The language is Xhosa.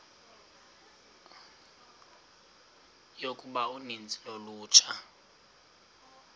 yokuba uninzi lolutsha